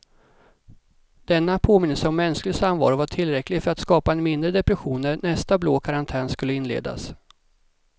Denna påminnelse om mänsklig samvaro var tillräcklig för att skapa en mindre depression när nästa blå karantän skulle inledas.